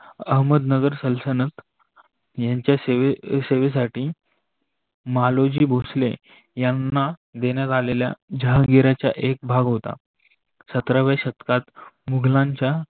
अहमदनगर सलसनंद यांच्या सेवे साठी मालोजी भोसले यांना देण्यात आलेल्या जहागीरचा एक भाग होता. सत्राव्या शतकात मुगलांच्या